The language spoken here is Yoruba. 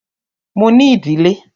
Mo ní ìdílé.